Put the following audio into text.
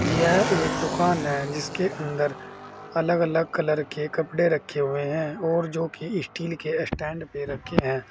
यह एक दुकान है जिसके अंदर अलग अलग कलर के कपड़े रखे हुए हैं और जो की स्टील के स्टैंड पे रखे हैं।